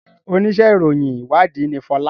ṣe onísé ìròyìn ìwádìí ní Fola?